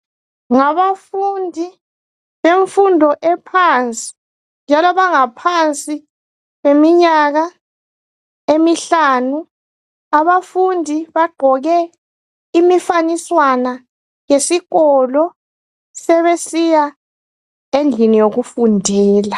Ngabafundi bemfundo ephansi, njalo bangaphansi kweminyaka emihlanu. Abafundi bagqoke imifaniswana yesikolo, Sebesiya endlini yokufundela.